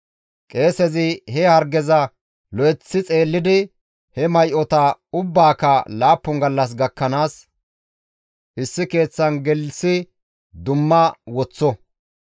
Qeesezi he hargeza lo7eththi xeellidi he may7ota ubbaaka laappun gallas gakkanaas issi keeththan gelththi dumma woththo.